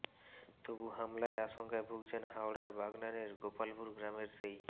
তবু হামলায় আশঙ্কায় ভুগছেন হাওড়ার বাগনানের গোপালপুর গ্রামের সেই